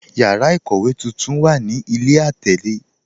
Yàrà ikówe tuntun wà ní ilẹ̀ atẹlè.